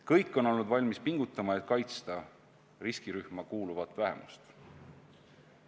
Kõik on olnud valmis pingutama, et kaitsta riskirühma kuuluvat vähemust.